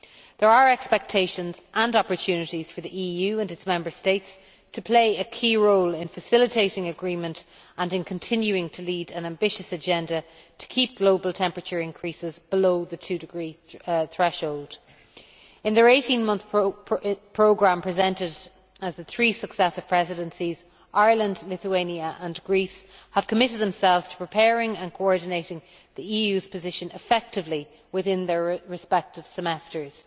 There are expectations and opportunities for the EU and its Member States to play a key role in facilitating agreement and in continuing to lead an ambitious agenda to keep global temperature increases below the 2°C threshold. In their 18 month programme presented within the three successive presidencies, Ireland, Lithuania and Greece have committed themselves to preparing and coordinating the EU's position effectively within their respective semesters.